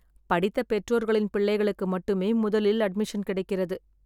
படித்த பெற்றோர்களின் பிள்ளைகளுக்கு மட்டுமே முதலில் அட்மிஷன் கிடைக்கிறது.